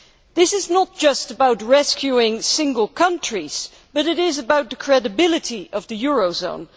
This is not just about rescuing single countries it is about the credibility of the eurozone.